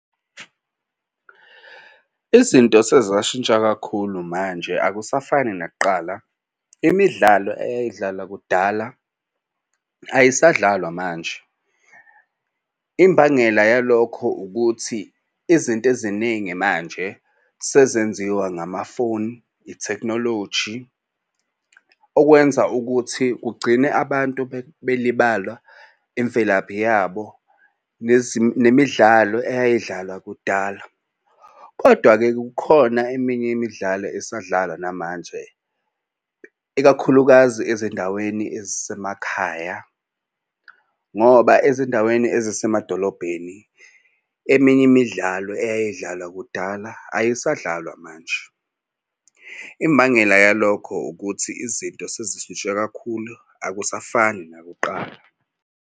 Izinto sezashintsha kakhulu manje akusafani nakuqala imidlalo eyayidlala kudala ayisadlalwa manje. Imbangela yalokho ukuthi izinto eziningi manje sezenziwa ngamafoni ithekhinoloji okwenza ukuthi kugcine abantu belibala imvelaphi yabo nemidlalo eyayidlalwa kudala. Kodwa-ke kukhona eminye imidlalo esadlala namanje ikakhulukazi ezindaweni ezisemakhaya ngoba ezindaweni ezisemadolobheni eminye imidlalo eyayidlalwa kudala ayisadlalwa manje. Imbangela yalokho ukuthi izinto sezishintshe kakhulu akusafani nakuqala.